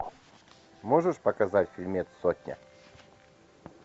можешь показать фильмец сотня